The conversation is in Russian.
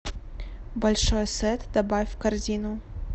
большой сет добавь в корзину